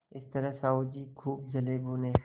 इस तरह साहु जी खूब जलेभुने